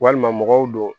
Walima mɔgɔw do